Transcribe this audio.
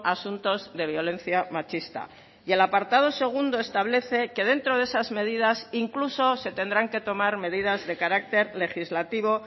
asuntos de violencia machista y el apartado segundo establece que dentro de esas medidas incluso se tendrán que tomar medidas de carácter legislativo